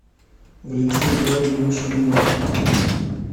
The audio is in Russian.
валентине георгиевне шульгиной